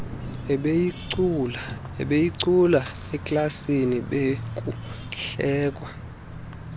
ebeyicula eklasini bekuhlekwa